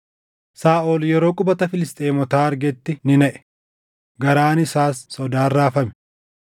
Saaʼol yeroo qubata Filisxeemotaa argetti ni naʼe; garaan isaas sodaan raafame.